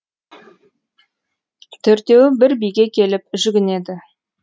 төртеуі бір биге келіп жүгінеді